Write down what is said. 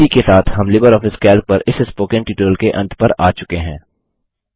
इसी के साथ हम लिबरऑफिस कैल्क पर इस स्पोकन ट्यूटोरियल के अंत पर आ चुके हैं